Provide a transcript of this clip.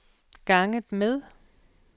ganget med